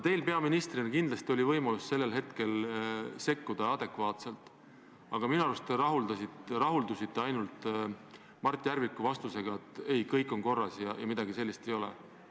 Teil peaministrina oli kindlasti võimalus sellel hetkel adekvaatselt sekkuda, aga minu arust te rahuldusite Mart Järviku kinnitusega, et kõik on korras ja midagi sellist ei ole.